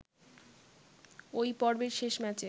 ওই পর্বের শেষ ম্যাচে